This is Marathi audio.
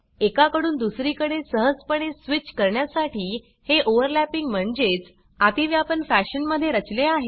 एका कडून दुसरी कडे सहजपणे स्विच करण्यासाठी हे ओवरलॅपिंग म्हणजेच आतीव्यापन फॅशन मध्ये रचले आहे